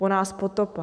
Po nás potopa...